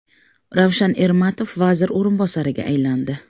Ravshan Ermatov vazir o‘rinbosariga aylandi.